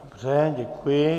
Dobře, děkuji.